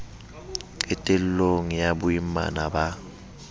qetel long ya boimana ba